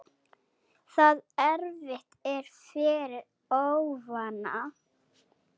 Það erfitt er fyrir óvana.